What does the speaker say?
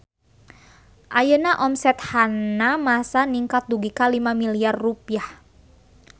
Ayeuna omset Hanamasa ningkat dugi ka 5 miliar rupiah